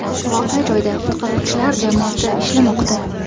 Voqea joyida qutqaruvchilar jamoasi ishlamoqda.